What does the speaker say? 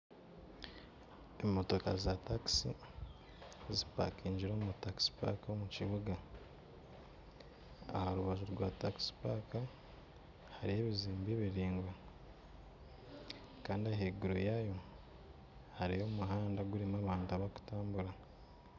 Emotoka za takisi zipakingire omu takisi paaka omu kibuga aha rubaju rwa takisi paaka hariho ebizimbe biraingwa kandi ahaiguru yaayo hariyo omuhanda gurimu abantu abarikutambura.